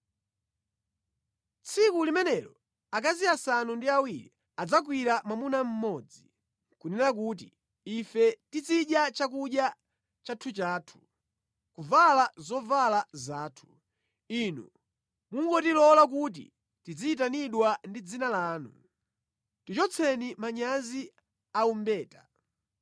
Tsiku limenelo akazi asanu ndi awiri adzagwira mwamuna mmodzi, nʼkunena kuti, “Ife tizidya chakudya chathuchathu, ndi kuvala zovala zathu; inu mungotilola kuti tidziyitanidwa ndi dzina lanu. Tichotseni manyazi aumbeta!”